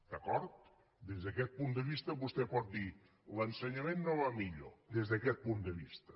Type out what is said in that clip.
d’acord des d’aquest punt de vista vostè pot dir l’ensenyament no va millor des d’aquest punt de vista